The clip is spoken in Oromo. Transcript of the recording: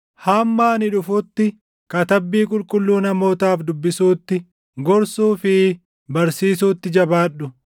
Hamma ani dhufutti Katabbii Qulqulluu namootaaf dubbisuutti, gorsuu fi barsiisuutti jabaadhu.